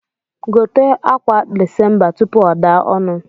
Gote akwa desemba tupu o daa onu